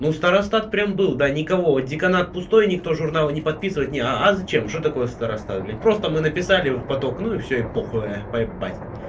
ну старостат прям был да никого деканат пустой никто журналы не подписывает не а зачем что такое старостат блядь просто мы написали в поток ну и всё и похую поебать